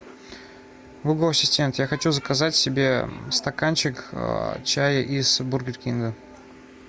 гугл ассистент я хочу заказать себе стаканчик чая из бургер кинга